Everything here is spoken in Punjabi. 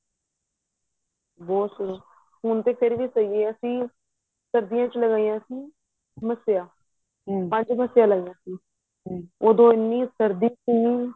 ਬਹੁਤ ਸੀ ਹੁਣ ਤੇ ਫ਼ੇਰ ਵੀ ਸਹੀਂ ਏ ਅਸੀਂ ਸਰਦੀਆਂ ਵਿੱਚ ਲਗਾਈਆਂ ਸੀ ਮੱਸਿਆਂ ਪੰਜ ਮੱਸਿਆਂ ਲਾਈਆਂ ਸੀ ਉਹਦੋ ਐਨੀ ਸ਼ਰਦੀ ਸੀ